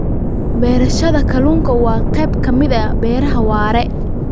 Beerashada kalluunka waa qayb ka mid ah beeraha waara.